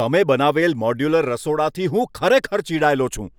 તમે સ્થાપિત કરેલ મોડ્યુલર રસોડાથી હું ખરેખર ચિડાયેલો છું.